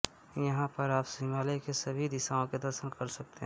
यहां पर आप हिमालय की सभी दिशाओं का दर्शन कर सकते हैं